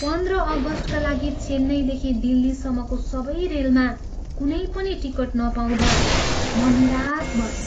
पन्ध्र अगस्टका लागि चेन्नईदेखि दिल्लीसम्मको सबै रेलमा कुनै पनि टिकट नपाउँदा म निराश भएँ।